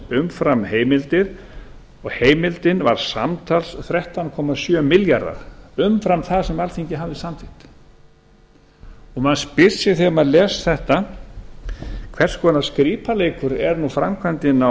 heimildir og heimildin var samtals þrettán komma sjö milljarðar umfram það sem alþingi hafði samþykkt maður spyr sig þegar maður les þetta hvers konar skrípaleikur er framkvæmdin á